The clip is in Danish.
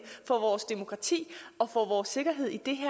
for vores demokrati og for vores sikkerhed i det